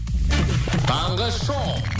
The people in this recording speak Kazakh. таңғы шоу